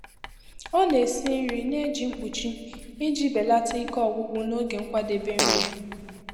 Ọ na-esi nri na-eji mkpuchi iji belata ike ọgwụgwụ n'oge nkwadebe nri.